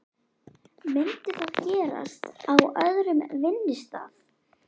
Myndi það gerast á öðrum vinnustað?